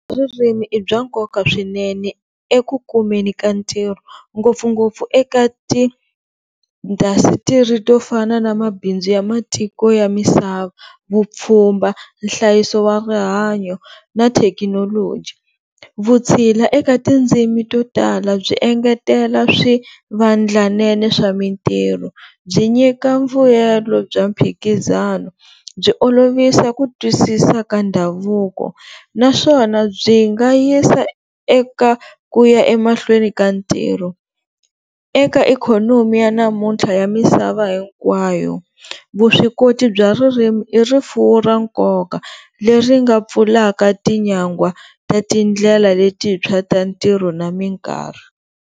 Ririmi i bya nkoka swinene eku kumeni ka ntirho ngopfungopfu eka ti-industry to fana na mabindzu ya matiko ya misava, vupfhumba, nhlayiso wa rihanyo na thekinoloji. Vutshila eka tindzimi to tala byi engetela swivandlanene swa mintirho, byi nyika mvuyelo bya mphikizano, byi olovisa ku twisisa ka ndhavuko naswona byi nga yisa eka ku ya emahlweni ka ntirho eka ikhonomi ya namuntlha ya misava hinkwayo vuswikoti bya ririmi i rifuwo ra nkoka leri nga pfulaka tinyangwa ta ti ndlela letintshwa ta ntirho na minkarhi.